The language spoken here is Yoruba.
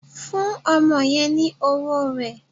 Fún ọmọdé yen ni owó rè